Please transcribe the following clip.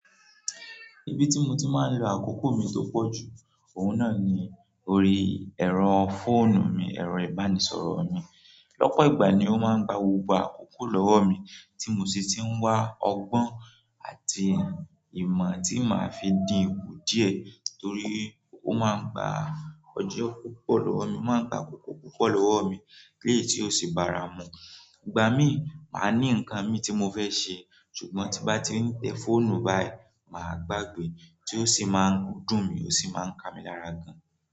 Ibi tí mo ti máa ń lo àkókò mi tó pọ̀ jù, òun náà ni orí ẹ̀rọ fóònù mi, ẹ̀rọ ìbánisọ̀rọ̀ mi. Lọ́pọ̀ ìgbà ni ó máa ń gba gbogbo àkókò lọ́wọ́ mi, tí mo sì ti ń wá ọgbọ́n àti ìmọ̀ tí màá fi dínkù díẹ̀ torí ó máa ń gba ọjọ́ púpọ̀ lọ́wọ́ mi, ó máa ń gba àkókò púpọ̀ lọ́wọ́ mi léyi tí ó sì bara mú. Ìgbà mí máa ní nǹkan mi tí mo fẹ́ ṣe, ṣùgbọ́n tí bá ti ní tẹ fóònù báyìí, màá gbàgbé tí ó sì máa ń dùn mí ó sì máa ń ka mi lára gan.